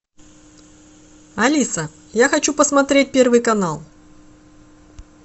алиса я хочу посмотреть первый канал